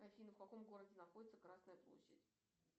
афина в каком городе находится красная площадь